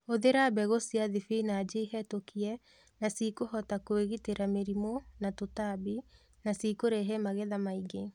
Hũthĩra mbegũ cia thibinachi hetokie na cikũhota gwĩtiria mĩrimu na tũtambi na cikũrehe magetha maingi